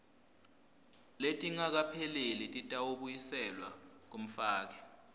letingakapheleli titawubuyiselwa kumfaki